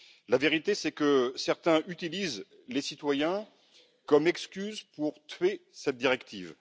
La vérité, c'est que certains utilisent les citoyens comme excuse pour tuer cette directive.